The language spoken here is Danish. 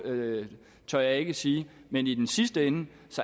det tør jeg ikke sige men i den sidste ende